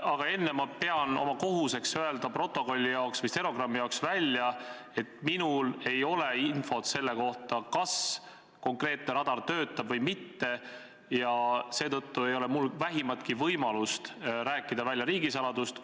Aga enne pean ma oma kohuseks öelda stenogrammi jaoks, et minul ei ole infot selle kohta, kas konkreetne radar töötab või mitte, ja seetõttu ei ole mul vähimatki võimalust rääkida välja riigisaladust.